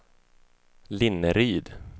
Linneryd